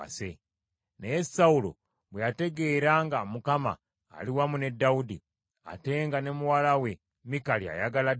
Naye Sawulo bwe yategeera nga Mukama ali wamu ne Dawudi, ate nga ne muwala we Mikali ayagala Dawudi,